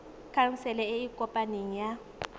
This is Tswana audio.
khansele e e kopaneng ya